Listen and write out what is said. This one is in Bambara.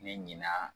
Ne ɲinɛna